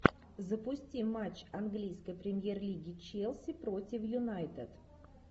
запусти матч английской премьер лиги челси против юнайтед